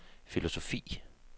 filosofi